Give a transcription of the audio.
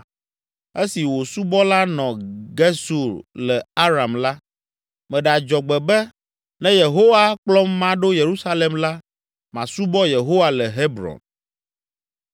Esi wò subɔla nɔ Gesur le Aram la, meɖe adzɔgbe be, ‘Ne Yehowa akplɔm maɖo Yerusalem la, masubɔ Yehowa le Hebron.’ ”